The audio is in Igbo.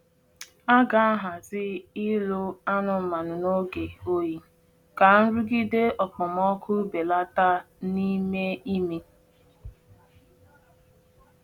A ga-ahazi ịlụ anụmanụ n’oge oyi ka nrụgide okpomọkụ belata n’ime ime.